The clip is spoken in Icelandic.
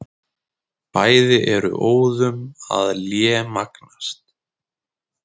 Bæði eru óðum að lémagnast.